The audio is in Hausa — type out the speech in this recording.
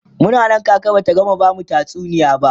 Muna Nan kaka Bata gama bamu tatsuniya ba